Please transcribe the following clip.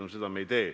No seda me ei tee.